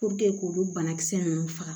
k'olu banakisɛ ninnu faga